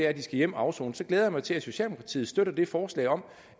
at de skal hjem og afsone så glæder jeg mig til at socialdemokratiet støtter det forslag om